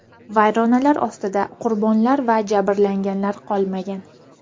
Vayronalar ostida qurbonlar va jabrlanganlar qolmagan.